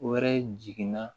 Wɛrɛ jiginna